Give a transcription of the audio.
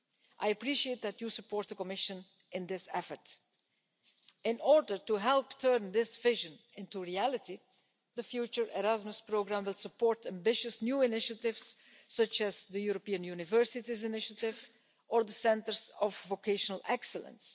I appreciate that you support the Commission in this effort. In order to help turn this vision into reality, the future Erasmus programme will support ambitious new initiatives, such as the European Universities Initiative or the Centres of Vocational Excellence.